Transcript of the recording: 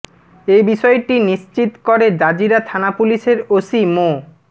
এ বিষয়টি নিশ্চিত করে জাজিরা থানা পুলিশের ওসি মো